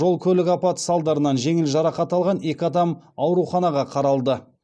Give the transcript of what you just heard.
жол көлік апаты салдарынан жеңіл жарақат алған екі адам ауруханаға қаралды